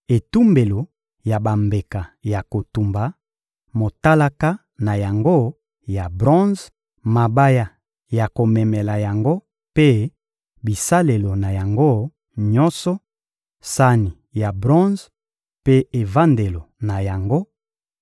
etumbelo ya bambeka ya kotumba, motalaka na yango ya bronze, mabaya ya komemela yango mpe bisalelo na yango nyonso, sani ya bronze mpe evandelo na yango,